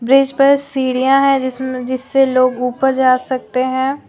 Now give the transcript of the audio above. Bridge पर सीढ़ियां है जिसमें जिससे लोग ऊपर जा सकते हैं।